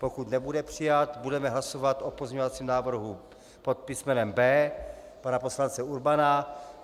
Pokud nebude přijat, budeme hlasovat o pozměňovacím návrhu pod písmenem B pana poslance Urbana.